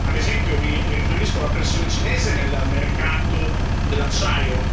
Ad esempio, mi riferisco alla pressione cinese nel mercato dell'acciaio.